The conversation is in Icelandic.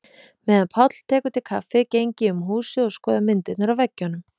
Meðan Páll tekur til kaffið geng ég um húsið og skoða myndirnar á veggjunum.